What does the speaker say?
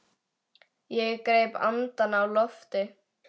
Ég greip andann á lofti.